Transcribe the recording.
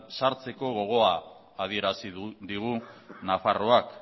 sartzeko gogoa adierazi digu nafarroak